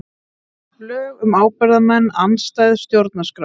Lög um ábyrgðarmenn andstæð stjórnarskrá